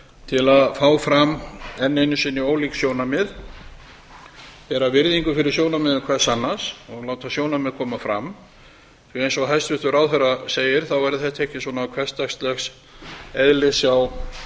til að fá fram enn einu sinni ólík sjónarmið bera virðingu fyrir sjónarmiðum hvers annars og láta sjónarmið koma fram því að eins og hæstvirtur ráðherra segir þá verður þetta ekki svona hversdags eðlis hjá